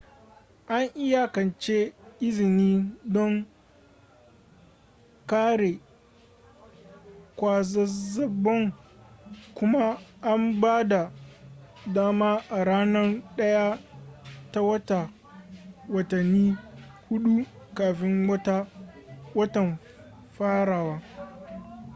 an iyakance izini don kare kwazazzabon kuma ana ba da dama a ranar 1 ta wata watanni huɗu kafin watan farawa